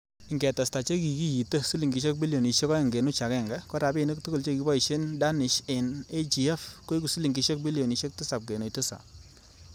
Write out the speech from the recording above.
Ingetesta che kikite silingisiek bilionisiek oeng kenuch agenge, korabinik tugul chekiboishen Danish en AGF koigu silingisiek bilionisiek tisap kenuch Tisap.